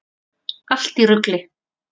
Allt í rugli!